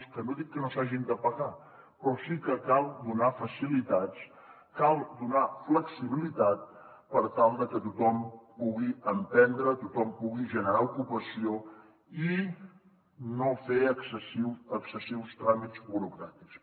que no dic que no s’hagin de pagar pe rò sí que cal donar facilitats cal donar flexibilitat per tal que tothom pugui emprendre tothom pugui generar ocupació i no fer excessius tràmits burocràtics